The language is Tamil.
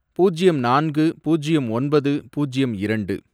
பூஜ்யம் நான்கு, பூஜ்யம் ஒன்பது, பூஜ்யம் இரண்டு